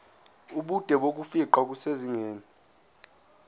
ubude bokufingqa kusezingeni